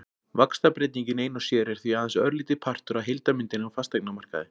Vaxtabreytingin ein og sér er því aðeins örlítill partur af heildarmyndinni á fasteignamarkaði.